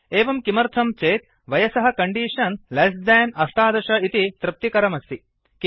एवं किमर्थं चेत् वयसः कण्डीषन् लेस्देन् १८ इति तृप्तिकरमस्ति